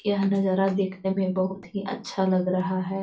यह नजारा देखने में बहुत हीं अच्छा लग रहा है।